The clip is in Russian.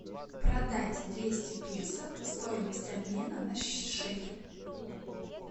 продать двести песо стоимость обмена на шекель